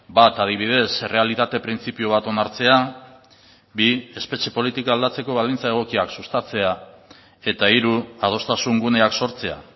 bat adibidez errealitate printzipio bat onartzea bi espetxe politika aldatzeko baldintza egokiak sustatzea eta hiru adostasun guneak sortzea